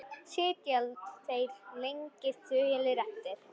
Sitja þeir lengi þögulir eftir.